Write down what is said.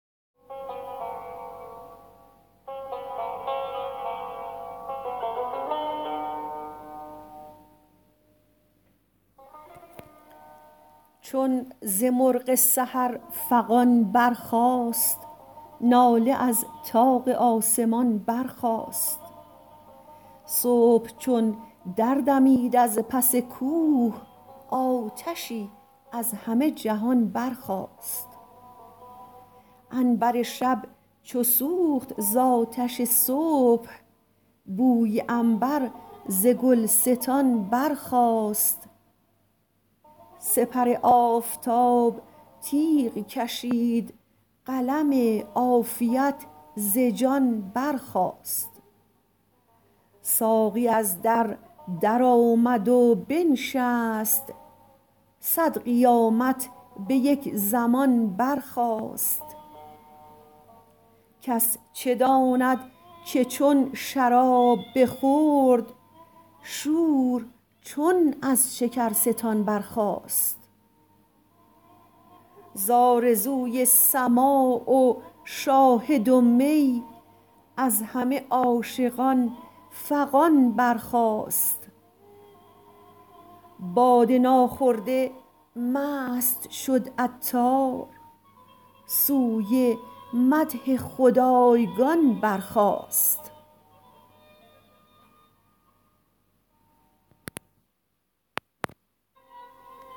چون ز مرغ سحر فغان برخاست ناله از طاق آسمان برخاست صبح چون دردمید از پس کوه آتشی از همه جهان برخاست عنبر شب چو سوخت زآتش صبح بوی عنبر ز گلستان برخاست سپر آفتاب تیغ کشید قلم عافیت ز جان برخاست ساقی از در درآمد و بنشست صد قیامت به یک زمان برخاست کس چه داند که چون شراب بخورد شور چون از شکرستان برخاست زآرزوی سماع و شاهد و می از همه عاشقان فغان برخاست باده ناخورده مست شد عطار سوی مدح خدایگان برخاست